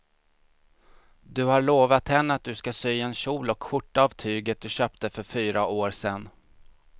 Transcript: Du har lovat henne att du ska sy en kjol och skjorta av tyget du köpte för fyra år sedan.